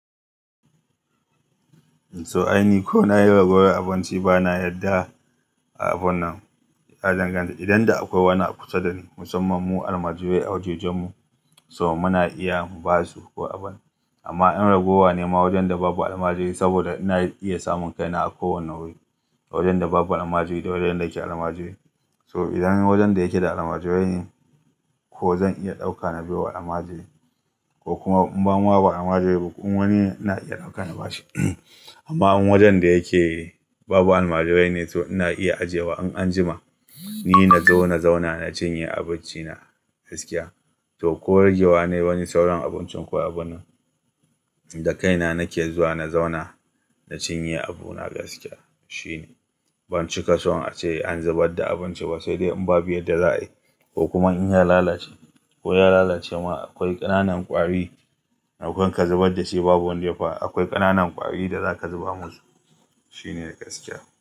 So aini ko na yi ragowar abinci ba na yarda a abun nan. Ya dangan-- idan da akwai wani kusa da ni, musamman mu almajirai a wajajen mu, so muna iya mu ba su ko abin. Amma in ragowa ne ma wajen da babu almajiri saboda ina iya samun kaina a kowane wuri, wajen da babu almajiri da wajen da ake almajirai. So idan wajen da yake da almajirai ne, ko zan iya ɗauka na bai wa almajiri ko kuma in ba ma almajiri ba kuma wani ina iya ɗauka in ba shi. Amma in wajen da yake babu almajirai ne, to ina iya ajiye wa an anjima. Ni na zo na zauna na cinye abinci na gaskiya. To ko ragewa na yi sauran abincin ko abin da kaina nake zuwa na zauna na cinye abu na gaskiya shine. Ban cika son a ce an zubar da abinci ba sai dai in babu ya da za a yi ko kuma in ya lalace ko ya lalace ma akwai ƙananan ƙwari. Maimakon ka zubar da shi babu wanda ya fa-- akwai ƙananan ƙwari da za ka zuba musu shine gaskiya.